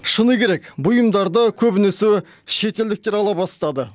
шыны керек бұйымдарды көбінесе шетелдіктер ала бастады